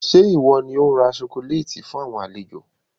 Ṣé ìwọ ni ó ra "sokoléétì" fun àwọn àlejò?